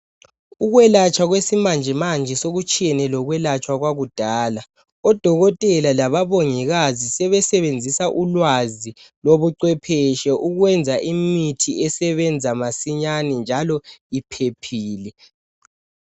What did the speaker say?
Ukwelatshwa kwesimanjemanje sekutshiyene lokulatshwa kwakudala odokotela labomongikazi sebesenzisa ulwazi lobucwepheshe ukwenza imithi esebenza masinyane njalo iphephile.